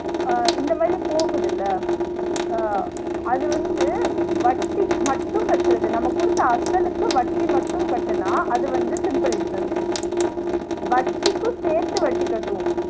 ஆஹ் இந்த மாதிரி போகுதுல ஆஹ் அது வந்து வட்டி மட்டும் கட்றது நம்ம குடுத்த அசலுக்கும் வட்டி மட்டும் கட்டுனா அது வந்து simple interest வட்டிக்கும் சேத்து வட்டி கட்டுவோம்